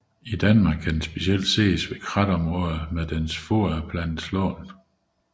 I Danmark kan den specielt ses ved kratområder med dens foderplante slåen